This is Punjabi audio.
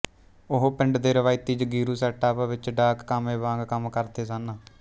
ਉਹ ਪਿੰਡ ਦੇ ਰਵਾਇਤੀਜਗੀਰੂ ਸੈੱਟਅੱਪ ਵਿੱਚ ਡਾਕ ਕਾਮੇ ਵਾਂਗ ਕੰਮ ਕਰਦੇ ਸਨ